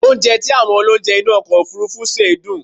Mo gbádùn oúnjẹ tí àwọn olounje inú ọkọ̀ òfurufú sè dùn